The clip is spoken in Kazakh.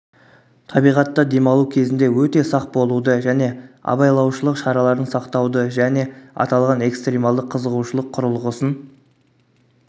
табиғатта демалу кезінде өте сақ болуды және абайлаушылық шараларын сақтауды және аталған экстрималды қызығушылық құрылғысын